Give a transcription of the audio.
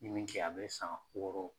N ye min kɛ a bɛ san wɔɔrɔ bɔ.